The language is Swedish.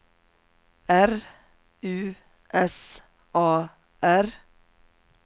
R U S A R